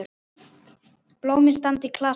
Blómin standa í klasa.